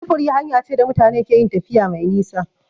Sufuri hanya ce da mutane keyin tafiya mai nisa